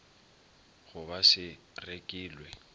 go ba se rekilw e